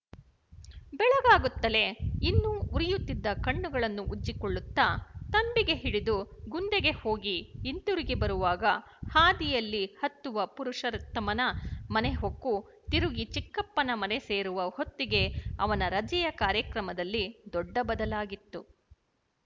ಬೆಳಗಾಗುತ್ತಲೇ ಇನ್ನೂ ಉರಿಯುತ್ತಿದ್ದ ಕಣ್ಣುಗಳನ್ನು ಉಜ್ಜಿಕೊಳ್ಳುತ್ತ ತಂಬಿಗೆ ಹಿಡಿದು ಗುಂದೆಗೆ ಹೋಗಿ ಹಿಂತಿರುಗಿ ಬರುವಾಗ ಹಾದಿಯಲ್ಲಿ ಹತ್ತುವ ಪುರುಷೊೀತ್ತಮನ ಮನೆ ಹೊಕ್ಕು ತಿರುಗಿ ಚಿಕ್ಕಪ್ಪನ ಮನೆ ಸೇರುವ ಹೊತ್ತಿಗೆ ಅವನ ರಜೆಯ ಕಾರ್ಯಕ್ರಮದಲ್ಲಿ ದೊಡ್ಡ ಬದಲಾಗಿತ್ತು